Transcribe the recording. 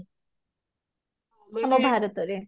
ଆମ ଭାରତରେ